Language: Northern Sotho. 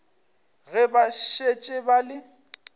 ge ba šetše ba le